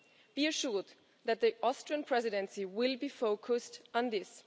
Be assured that the Austrian Presidency will be focused on this.